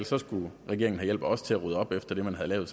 så skulle regeringen have hjælp af os til at rydde op efter det man havde lavet